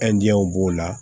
b'o la